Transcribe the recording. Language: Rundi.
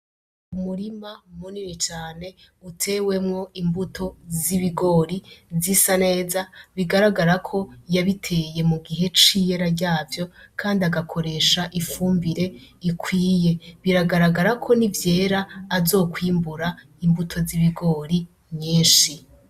Umurima munini cane utewemwo imbuto z'ibigori zisa neza bigaragara ko yabiteye mu gihe c'iyara ryavyo kandi akoresha ifumbire ikwiye, biragaragara ko n'ivyera azokwimbura imbuto z'ibigori nyishi.